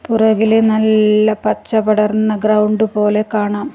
പുറകില് നല്ല പച്ച പടർന്ന ഗ്രൗണ്ട് പോലെ കാണാം.